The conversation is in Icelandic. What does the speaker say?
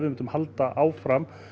halda áfram